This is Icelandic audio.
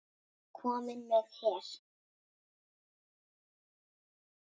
Kominn með her!